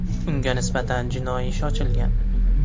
Unga nisbatan jinoiy ish ochilgan.